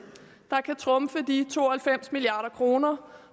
der kan trumfe de to og halvfems milliard kroner